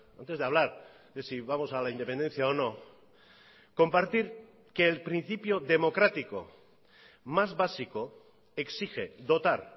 antes de hablar de si vamos a la independencia o no compartir que el principio democrático más básico exige dotar